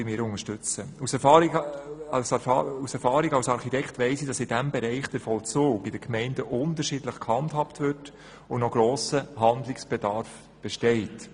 Als Architekt weiss ich aus Erfahrung, dass der Vollzug in den Gemeinden in diesem Bereich unterschiedlich gehandhabt wird und noch ein grosser Handlungsbedarf besteht.